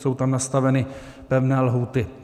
Jsou tam nastaveny pevné lhůty.